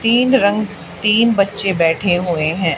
तीन रंग तीन बच्चे बैठे हुए हैं।